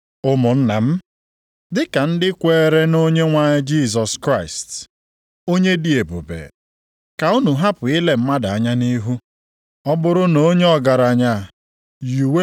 Ụmụnna m, dịka ndị kweere nʼOnyenwe anyị Jisọs Kraịst, onye dị ebube, ka unu hapụ ile mmadụ anya nʼihu.